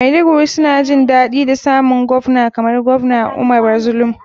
Maiduguri suna jin daɗi da samun govna kamar govna umara zulum.